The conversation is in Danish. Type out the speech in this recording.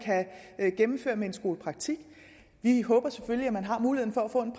kan gennemføre med skolepraktik vi håber selvfølgelig at man har mulighed for at få en